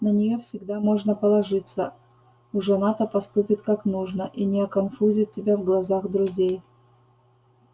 на неё всегда можно положиться уж она-то поступит как нужно и не оконфузит тебя в глазах друзей